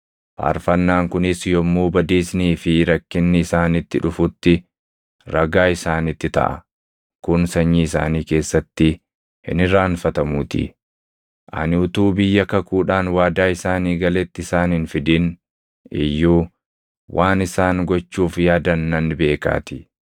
Faarfannaan kunis yommuu badiisnii fi rakkinni isaanitti dhufuti ragaa isaanitti taʼa; kun sanyii isaanii keessatti hin irraanfatamuutii. Ani utuu biyya kakuudhaan waadaa isaanii galetti isaan hin fidin iyyuu waan isaan gochuuf yaadan nan beekaatii.”